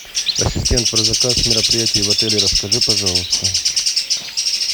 ассистент про заказ мероприятий в отеле расскажи пожалуйста